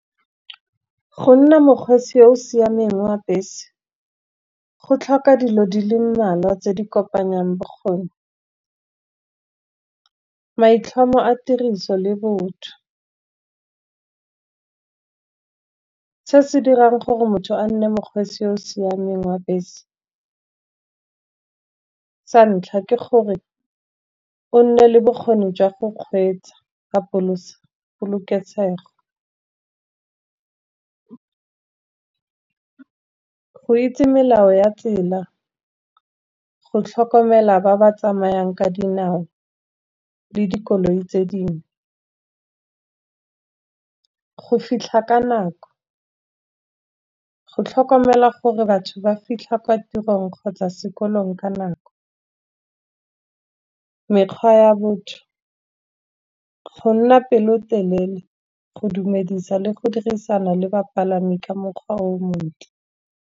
Go nna mokgweetsi yo o siameng wa bese go tlhoka dilo di le mmalwa tse di kopanyang bokgoni. Maitlhomo a tiriso le botho, se se dirang gore motho a nne mokgweetsi o o siameng wa bese, sa ntlha ke gore o nne le bokgoni jwa go kgweetsa polokeseg. Go itse melao ya tsela, go tlhokomela ba ba tsamayang ka dinao, le dikoloi tse dingwe, go fitlha ka nako, go tlhokomela gore batho ba fitlha kwa tirong kgotsa sekolong ka nako. Mekgwa ya botho, gonna pelotelele, go dumedisa le go dirisana le bapalami ka mokgwa o montle.